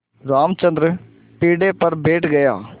रामचंद्र पीढ़े पर बैठ गया